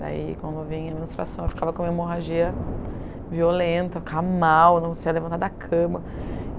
Daí, quando eu vinha à menstruação, eu ficava com a minha hemorragia violenta, eu ficava mal, não conseguia levantar da cama.